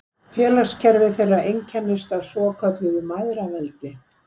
Félagskerfi þeirra einkennist af svokölluðu mæðraveldi.